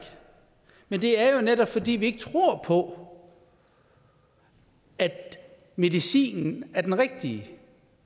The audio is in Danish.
men det er jo netop fordi vi ikke tror på at medicinen er den rigtige